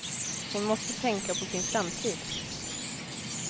Hon måste tänka på sin framtid.